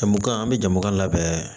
Jamu kan an bɛ jama labɛn